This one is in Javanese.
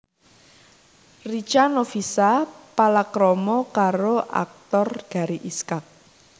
Richa Novisha palakrama karo aktor Gary Iskak